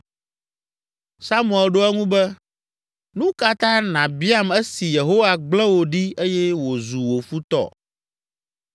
Samuel ɖo eŋu be, “Nu ka ta nàbiam esi Yehowa gblẽ wò ɖi eye wòzu wò futɔ?